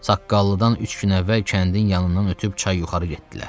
Saqqallıdan üç gün əvvəl kəndin yanından ötüb çay yuxarı getdilər.